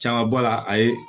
Caman bɔ la a ye